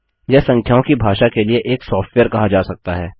यह संख्याओं की भाषा के लिए एक सॉफ्टवेयर कहा जा सकता है